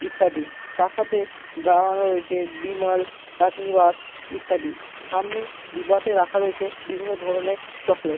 ইত্যাদি তার সাথে দাঁড়ানো রয়েছে বিমল রাশনিবাস ইত্যাদি। সামনে ডিবাতে রাখা রয়েছে বিভিন্ন ধরণের চকলেট --